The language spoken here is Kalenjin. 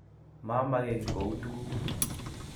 Mamage kiy koun tug